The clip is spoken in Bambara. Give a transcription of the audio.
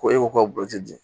Ko e ko k'o tɛ di